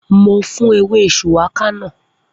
Mo fún ewé shùwákà náà